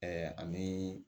ani